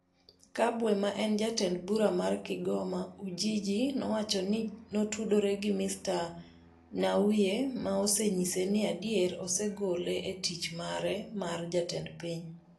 Kabwe, ma en Jatend Bura mar Kigoma-Ujiji, nowacho ni notudore gi Mr Nnauye ma osenyise ni adier osegole e tich mare mar jatend piny.